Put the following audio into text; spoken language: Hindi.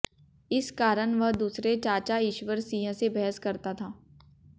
इस कारण वह दूसरे चाचा ईश्वर सिंह से बहस करता था